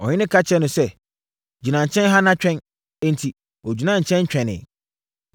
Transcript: Ɔhene ka kyerɛɛ no sɛ, “Gyina nkyɛn ha na twɛn.” Enti, ɔgyinaa nkyɛn twɛnee.